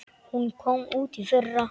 Hún kom út í fyrra.